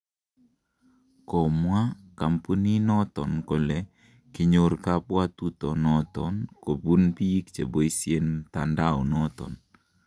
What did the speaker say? Komwaa kompuninoton kole kinyor kobwotutonoton kumbun biik cheboisien mtandaomoton.